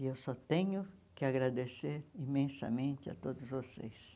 E eu só tenho que agradecer imensamente a todos vocês.